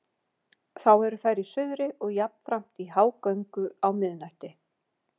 Þá eru þær í suðri og jafnframt í hágöngu á miðnætti.